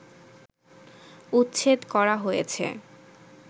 উচ্ছেদ করা হয়েছে